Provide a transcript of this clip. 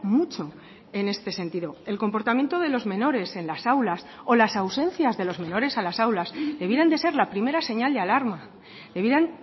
mucho en este sentido el comportamiento de los menores en las aulas o las ausencias de los menores a las aulas debieran de ser la primera señal de alarma debieran